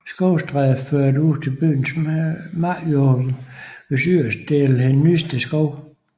Skovstræde førte ud til byens markjord hvis yderste dele hed Nysted Skov